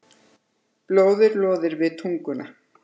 Blóðið loðir við tunguna.